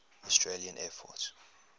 australian air force